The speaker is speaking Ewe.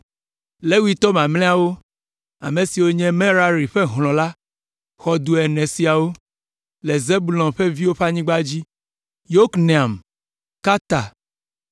Levitɔ mamlɛawo, ame siwo nye Merari ƒe hlɔ̃ la xɔ du ene siawo: le Zebulon ƒe viwo ƒe anyigba dzi: Yokneam, Karta,